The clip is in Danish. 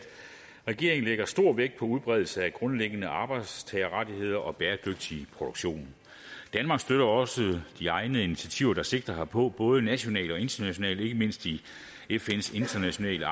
regeringen lægger stor vægt på udbredelsen af grundlæggende arbejdstagerrettigheder og bæredygtig produktion danmark støtter også de egnede initiativer der sigter herpå både nationalt og internationalt ikke mindst i fns internationale